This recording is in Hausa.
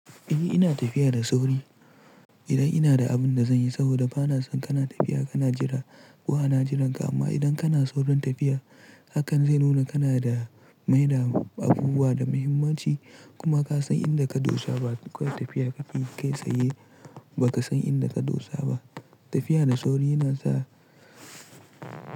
Eh ina tafiya da sauri idan ina da abin da zanyi, saboda bana son kana tafiya kana jira, ko ana jiranka. Amma idan kana saurin tafiya, hakan zai nuna kana da maida abubuwa da muhimmanci. Kuma ka san inda ka dosa ba, kuka tafiya ka fi kai tsaye baka san inda ka dosa ba. Tafiya da sauri yana sa.